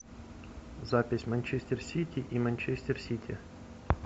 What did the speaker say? запись манчестер сити и манчестер сити